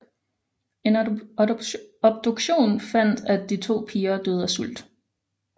En obduktion fandt at de to piger døde af sult